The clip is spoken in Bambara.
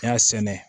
N y'a sɛnɛ